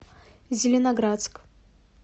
зеленоградск